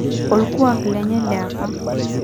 Orkuak lenye liapa